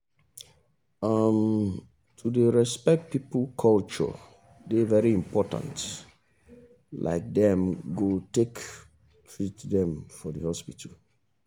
um to dey respect people culture dey very important like them go take treat dem for the hospital dem.